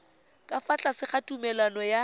fa tlase ga tumalano ya